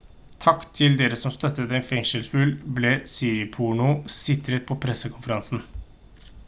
«takk til dere som støttet en fengselsfugl» ble siriporno sitert på en pressekonferanse